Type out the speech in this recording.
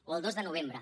o el dos de novembre